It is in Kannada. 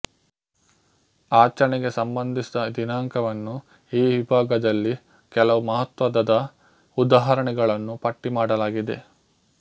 ಆಚರಣೆಗೆ ಸಂಬಂಧಿಸಿದ ದಿನಾಂಕವನ್ನು ಈ ವಿಭಾಗದಲ್ಲಿ ಕೆಲವು ಮಹತ್ವದದ ಉದಾಹರಣೆಗಳನ್ನು ಪಟ್ಟಿ ಮಾಡಲಾಗಿದೆ